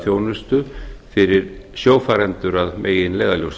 þjónustu fyrir sjófarendur að meginleiðarljósi loks